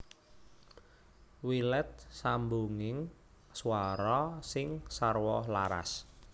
Wilet sambunging swara sing sarwa laras